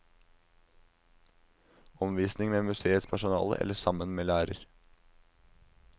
Omvisning med museets personale eller sammen med lærer.